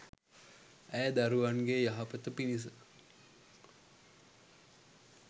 ඇය දරුවන්ගේ යහපත පිණිස